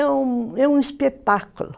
É um é um espetáculo.